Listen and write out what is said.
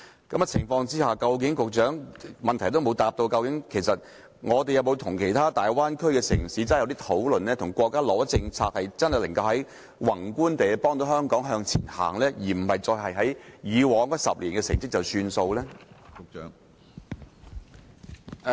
局長沒有回答在這樣的情況之下，究竟香港有否與其他大灣區的城市進行討論，有否要求國家提供政策，宏觀地幫助香港向前走，而不只是滿足於以往10年的成績呢？